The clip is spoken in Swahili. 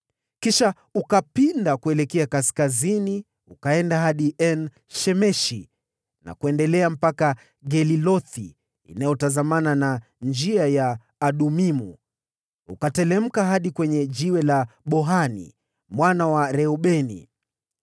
Kisha ukapinda kuelekea kaskazini, ukaenda hadi En-Shemeshi na kuendelea mpaka Gelilothi, inayotazamana na Njia ya Adumimu, ukateremka hadi kwenye Jiwe la Bohani mwana wa Reubeni.